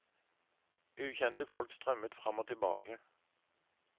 Ukjente folk strømmet fram og tilbake.